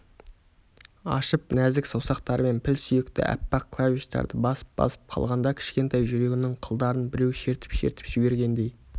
ашып нәзік саусақтарымен піл сүйекті аппақ клавиштарды басып-басып қалғанда кішкентай жүрегіңнің қылдарын біреу шертіп-шертіп жібергендей